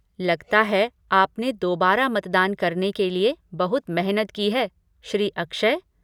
लगता है, आपने दोबारा मतदान करने के लिए बहुत मेहनत की है, श्री अक्षय